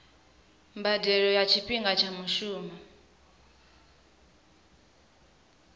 mbadelo nga tshifhinga tsha mushumo